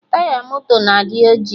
Taya moto na-adị ojii